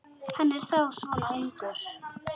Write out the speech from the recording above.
Hann er þá svona ungur.